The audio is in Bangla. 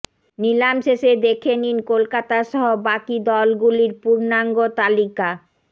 নিলাম শেষে দেখে নিন কলকাতা সহ বাকি দলগুলির পূর্ণাঙ্গ তালিকা